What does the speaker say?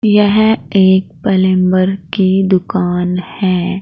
यह एक पलेम्बर की दुकान है।